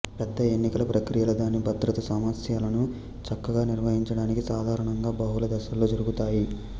పెద్ద ఎన్నికల ప్రక్రియలు దాని భద్రతా సమస్యలను చక్కగా నిర్వహించడానికి సాధారణంగా బహుళ దశల్లో జరుగుతాయి